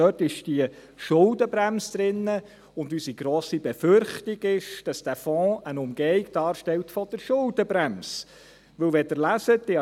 Dort ist die Schuldenbremse enthalten, und unsere grosse Befürchtung ist, dass der Fonds eine Umgehung der Schuldenbremse darstellt.